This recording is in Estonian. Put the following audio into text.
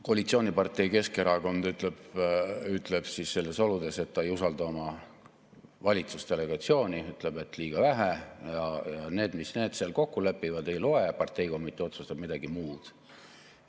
Koalitsioonipartei Keskerakond ütleb nendes oludes, et ta ei usalda oma valitsusdelegatsiooni, ütleb, et liiga vähe, ja see, mis need seal kokku lepivad, ei loe, parteikomitee otsustab midagi muud.